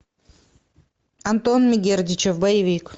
антон мегердичев боевик